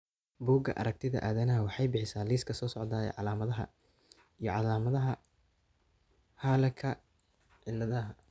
Bugga Aartigayaha Aadanaha waxay bixisaa liiska soo socda ee calaamadaha iyo calaamadaha Hurleka ciladaha.